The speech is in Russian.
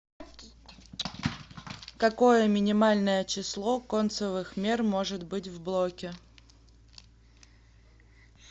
какое минимальное число концевых мер может быть в блоке